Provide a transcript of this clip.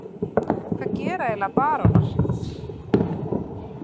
Hvað gera eiginlega barónar?